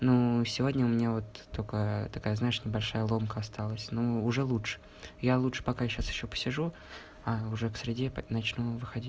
ну сегодня у меня вот только такая знаешь небольшая ломка осталась ну уже лучше я лучше пока сейчас ещё посижу а уже к среде начну выходить